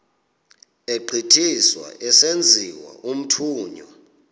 egqithiswa esenziwa umthunywa